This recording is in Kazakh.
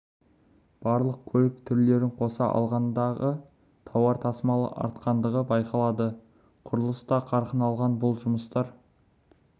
барлық көлік түрлерін қоса алғандағы тауар тасымалы артқандығы байқалады құрылыс та қарқын алған бұл жұмыстар